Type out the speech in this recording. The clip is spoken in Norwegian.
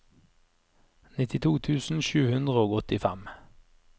nittito tusen sju hundre og åttifem